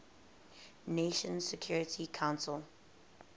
nations security council